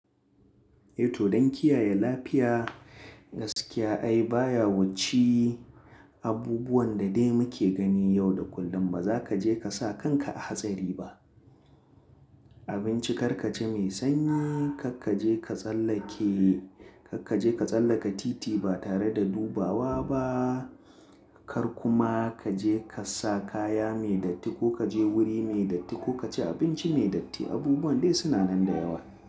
Eh to don kiyaye lafiya gaskiya ai baya wuce abubuwan da dai muke gani yau da kullum. Ba za ka je ka sa kanka a hatsari ba. Abinci kar ka ci mai sanyi, kar ka je ka tsallake, kar ka je ka tsallaka titi ba tare da dubawa ba, kar kuma ka je ka sa kaya mai datti ko ka je wuri mai datti ko ka ci abinci mai datti. Abubuwan dai suna nan da yawa.